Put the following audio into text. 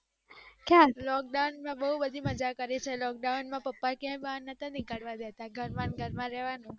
lockdown તો બૌ બધી મજા કરી છે lockdown માં ક્યાય બહાર નોટ્સ નીકળવા દેતા ઘર મને ઘર માં રેવાનું